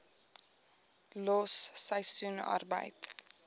los seisoensarbeid